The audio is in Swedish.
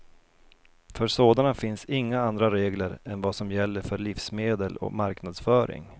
För sådana finns inga andra regler än vad som gäller för livsmedel och marknadsföring.